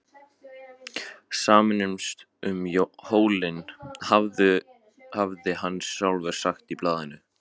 Sameinumst um hólinn, hafði hann sjálfur sagt í blaðinu.